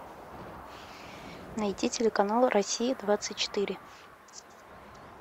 найти телеканал россия двадцать четыре